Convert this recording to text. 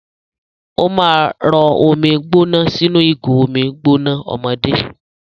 Ó máa rọ omi gbóná sínú ìgò omi gbóná ọmọdé.